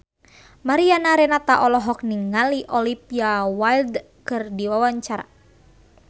Mariana Renata olohok ningali Olivia Wilde keur diwawancara